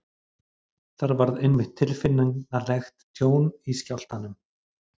þar varð einmitt tilfinnanlegt tjón í skjálftanum